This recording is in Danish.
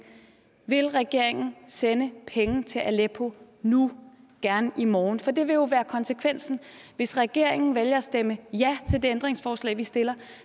vil regeringen sende penge til aleppo nu gerne i morgen for det vil jo være konsekvensen hvis regeringen vælger at stemme ja til det ændringsforslag vi stiller